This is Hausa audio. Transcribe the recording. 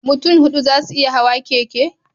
Mutun hudu zasu iya Hawa keke